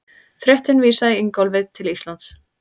Fréttin vísaði Ingólfi til Íslands.